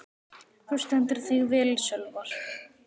Þú stendur þig vel, Sölvar!